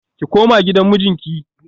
Ki koma gidan mijinki